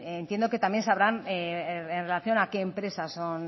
entiendo que también sabrán en relación a qué empresas son